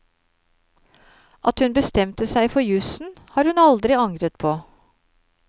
At hun bestemte seg for jusen, har hun aldri angret på.